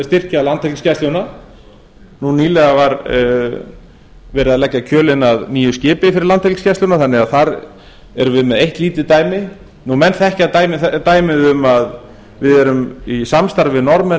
styrkja landhelgisgæsluna nú nýlega var verið að leggja kjölinn að nýju skipi fyrir landhelgisgæsluna þannig að þar erum við með eitt lítið dæmi menn þekkja dæmið um að við erum í samstarfi við norðmenn